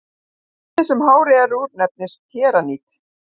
efnið sem hárið er úr nefnist keratín